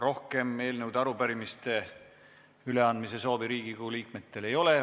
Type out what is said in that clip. Rohkem eelnõude ja arupärimiste üleandmise soovi Riigikogu liikmetel ei ole.